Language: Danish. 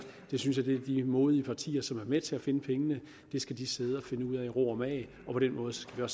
det synes jeg de modige partier som er med til at finde pengene skal sidde at finde ud af i ro og mag og på den måde skal